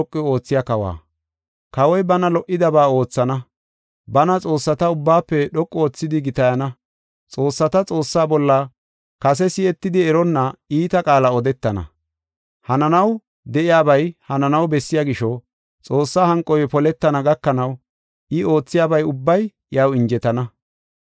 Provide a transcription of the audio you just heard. “Kawoy bana lo77idaba oothana; bana xoossata ubbaafe dhoqu oothidi gitayana; xoossata Xoossaa bolla kase si7etidi eronna iita qaala odetana. Hananaw de7iyabay hananaw bessiya gisho, Xoossa hanqoy poletana gakanaw I oothiyaba ubbay iyaw injetana.